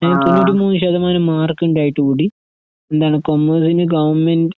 A തൊണ്ണൂറ്റിമൂന്ന്ശതമാനംമാർക്കുണ്ടായിട്ടുകൂടി എന്താണ് കോമേഴ്സിന്ഗവണ്മെന്റ്